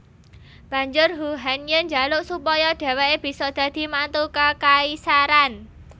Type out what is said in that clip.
Banjur Huhanye jaluk supaya dheweke bisa dadi mantu kekaisaran